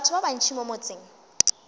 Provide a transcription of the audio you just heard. batho ba bantši mo motseng